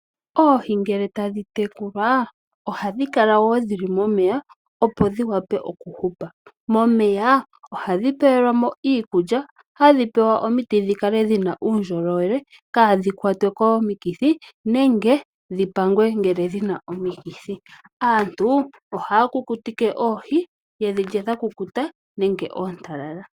Oohi ngele tadhi tekulwa, ohadhi kala wo dhi li momeya opo dhi wape oku hupa. Momeya oha dhi pe we lwamo iikulya, hadhi pewa omiti dhi kale dhina uundjolowele kaadhi kwatwe komikithi, nenge dhi pangwe ngele dhina omikithi. Aantu ohaya kukuti ke oohi yedhi lye dha kukuta nenge ye dhilye oontalala.